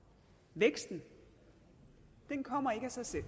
væksten kommer ikke af sig selv